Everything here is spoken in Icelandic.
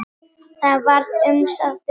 Það var umsátur um Ísland.